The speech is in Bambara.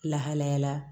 Lahalayala